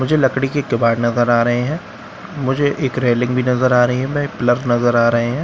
मुझे लकड़ी की इक केबाड़ नजर आ रहे हैं मुझे एक रेलिंग भी नजर आ रही है में पिलर नजर आ रहे हैं।